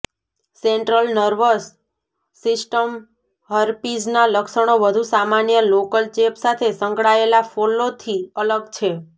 central nervous system હર્પીઝના લક્ષણો વધુ સામાન્ય લોકલ ચેપ સાથે સંકળાયેલા ફોલ્લોથી અલગ છે